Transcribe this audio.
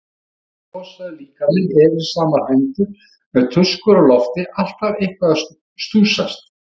Stór og klossaður líkaminn, erilsamar hendur með tuskur á lofti, alltaf eitthvað að stússast.